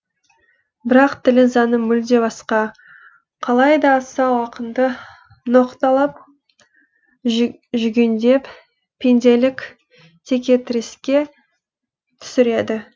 бірақ тілі заңы мүлде басқа қалай да асау ақынды ноқталап жүгендеп пенделік текетіреске түсіреді